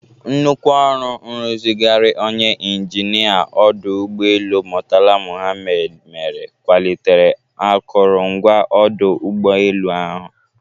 Nnukwu ọrụ nrụzigharị onye injinịa ọdụ ụgbọelu Murtala Mohammed mere kwalitere akụrụngwa ọdụ ụgbọelu ahụ.